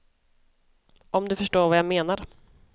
Om du förstår vad jag menar.